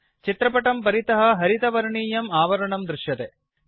चित्रपटं परितः हरितवर्णीयं आवरणं दृश्यते